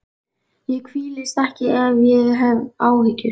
Ég hvílist ekki ef ég hef áhyggjur.